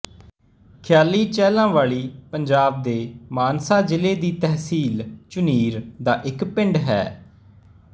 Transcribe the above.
ਖਿਆਲੀ ਚਹਿਲਾਵਾਲੀ ਪੰਜਾਬ ਦੇ ਮਾਨਸਾ ਜ਼ਿਲ੍ਹੇ ਦੀ ਤਹਿਸੀਲ ਝੁਨੀਰ ਦਾ ਇੱਕ ਪਿੰਡ ਹੈ